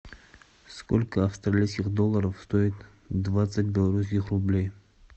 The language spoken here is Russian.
сколько австралийских долларов стоит двадцать белорусских рублей